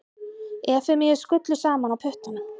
Efemíu skullu saman á puttanum.